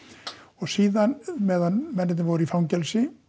síðan meðan mennirnir voru í fangelsi